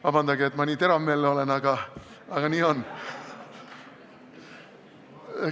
Vabandage, et ma nii teravmeelne olen, aga nii on.